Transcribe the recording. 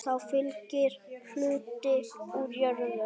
Þá fylgir hluti úr jörðum.